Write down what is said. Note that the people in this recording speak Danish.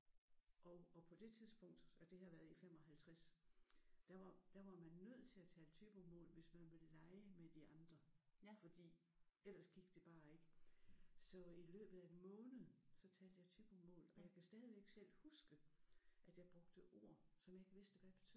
Og og på det tidspunkt har det her været i 55 og der var der var man nødt til at tale Thybomål hvis man ville lege med de andre fordi ellers gik det bare ikke. Så i løbet af en måned så talte jeg Thybomål og jeg kan stadigvæk selv huske at jeg brugte ord som jeg ikke vidste hvad betød